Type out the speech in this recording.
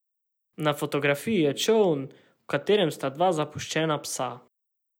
Na fotografiji je čoln, v katerem sta dva zapuščena psa.